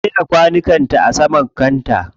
Ta jera kwanukan ta a saman kanta.